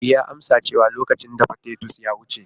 E, ya amsa cewa lokacin dafa titus ya wuce.